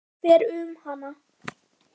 Hrollur fer um hana.